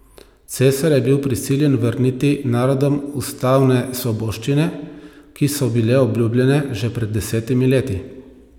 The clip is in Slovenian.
Cesar je bil prisiljen vrniti narodom ustavne svoboščine, ki so bile obljubljene že pred desetimi leti.